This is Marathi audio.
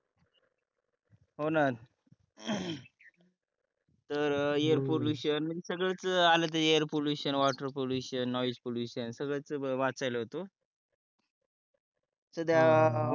हो ना तर एयर पॉल्युशन संगळच आल air pollution water pollution noise pollution संगळच वाचायलो होतो